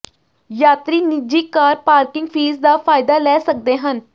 ਯਾਤਰੀ ਨਿੱਜੀ car parking fee ਦਾ ਫਾਇਦਾ ਲੈ ਸਕਦੇ ਹਨ